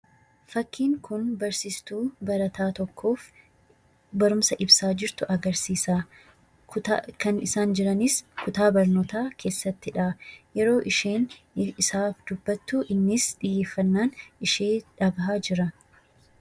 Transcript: Fakkiin kun barsiistuu barataa tokkoof barumsa ibsaa jirtu agarsiisa. Kan isaan jiranis kutaa barnootaa keessattidha. Yeroo isheen isaaf dubbattu innis xiyyeeffannaan ishee dhagahaa jira.